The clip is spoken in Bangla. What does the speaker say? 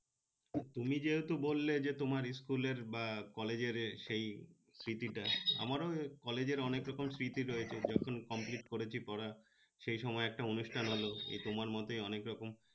তুমি যেহেতু বললে যে তোমার collage র বা collage র সেই স্মৃতি টা আমারও collage র অনেক রকম স্মৃতি রয়েছে যখন complete করেছি পড়া সেই সময় একটা অনুষ্ঠান হলো এই তোমার মতই অনেক রকম